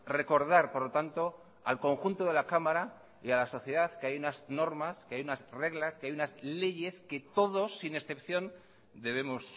recordar por lo tanto al conjunto de la cámara y a la sociedad que hay unas normas que hay unas reglas que hay unas leyes que todos sin excepción debemos